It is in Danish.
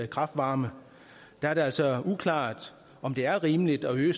kraft varme er det altså uklart om det er rimeligt at øge